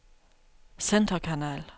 centerkanal